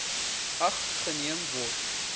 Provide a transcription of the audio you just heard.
ag geneem word